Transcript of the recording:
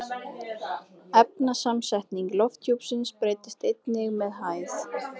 Efnasamsetning lofthjúpsins breytist einnig með hæð.